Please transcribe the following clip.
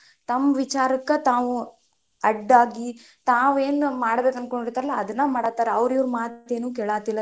ತಮ್ ವಿಚಾರಕ್ಕ ತಾವು ಅಡ್ಡಾಗಿ ತಾವು ಏನ್ ಮಾಡ್ಬೇಕ್ ಅನ್ಕೊಂಡಿರ್ತಾರಲ್ಲಾ ಅದನ್ನ ಮಾಡಕತ್ತಾರ, ಅವ್ರ್ ಇವ್ರ್ ಮಾತ ಏನು ಕೇಳತಿಲ್ಲಾ.